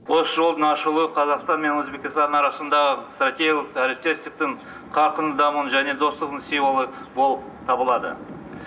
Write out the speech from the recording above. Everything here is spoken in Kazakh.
осы жолдың ашылуы қазақстан мен өзбекстан арасындағы стратегиялық әріптестіктің қарқынды дамуының және достықтың символы болып табылады